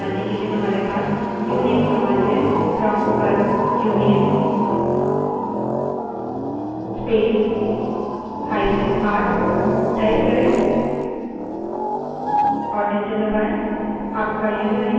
इसके बारे में to हमारी machine की अन्य विशेषताओं को जानने के लिए हमारे पास uname command है prompt पर uname space hyphen r type करें और enter दबायें